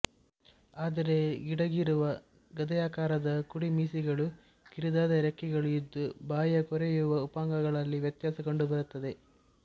ಆದರೆ ಗಿಡ್ಡಗಿರುವ ಗದೆಯಾಕಾರದ ಕುಡಿಮೀಸೆಗಳೂ ಕಿರಿದಾದ ರೆಕ್ಕೆಗಳೂ ಇದ್ದು ಬಾಯಿಯ ಕೊರೆಯುವ ಉಪಾಂಗಗಳಲ್ಲಿ ವ್ಯತ್ಯಾಸ ಕಂಡುಬರುತ್ತದೆ